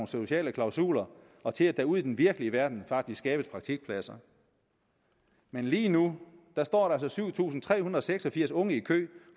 sociale klausuler og til at der ude i den virkelige verden faktisk skabes praktikpladser men lige nu nu står der altså syv tusind tre hundrede og seks og firs unge i kø